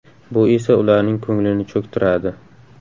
Bu esa ularning ko‘nglini cho‘ktiradi.